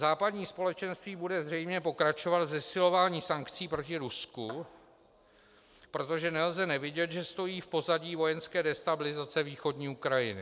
Západní společenství bude zřejmě pokračovat v zesilování sankcí proti Rusku, protože nelze nevidět, že stojí v pozadí vojenské destabilizace východní Ukrajiny.